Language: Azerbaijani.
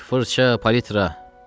Rəng, fırça, palitra.